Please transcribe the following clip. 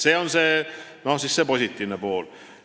See on see positiivne pool.